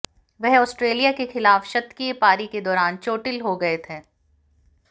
वह आस्ट्रेलिया के खिलाफ शतकीय पारी के दौरान चोटिल हो गये थे